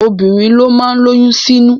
Obìnrin ló má ń lóyún sínú